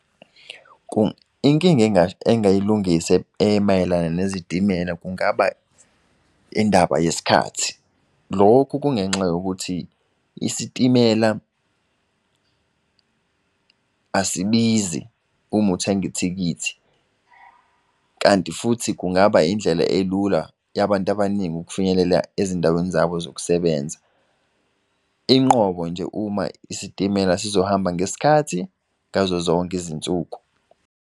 Inkinga engayilungisa emayelana nezitimela kungaba indaba yesikhathi. Lokhu kungenxa yokuthi isitimela asibizi uma uthengi ithikithi. Kanti futhi kungaba indlela elula yabantu abaningi ukufinyelela ezindaweni zabo zokusebenza, inqobo nje uma isitimela sizohamba ngesikhathi ngazo zonke izinsuku.